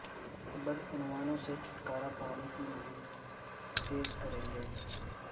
بدعنوانوں سے چھٹکارہ پانے کی مہم تیز کریں گے